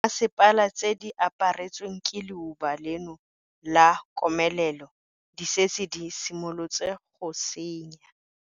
Dimasepala tse di aparetsweng ke leuba leno la komelelo di setse di simolotse go tsenya.